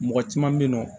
Mɔgɔ caman bɛ yen nɔ